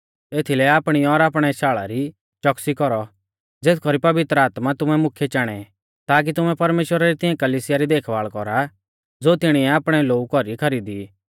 एथीलै आपणी और आपणै शाल़ा री च़ोकसी कौरौ ज़ेथ कौरी पवित्र आत्मै तुमै मुख्यै चाणेई ताकी तुमै परमेश्‍वरा री तिऐं कलिसिया री देखभाल़ कौरा ज़ो तिणीऐ आपणै लोऊ कौरी खरीदै ई